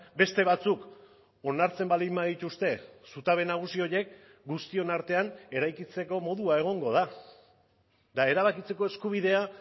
beste batzuk onartzen baldin badituzte zutabe nagusi horiek guztion artean eraikitzeko modua egongo da eta erabakitzeko eskubidea